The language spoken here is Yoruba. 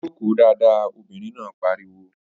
Jòkó dáadáa! Obìnrin náà pariwo